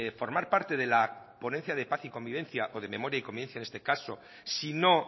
formar parte de la ponencia de paz y convivencia o de memoria y convivencia en este caso si no